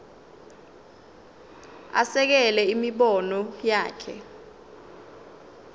asekele imibono yakhe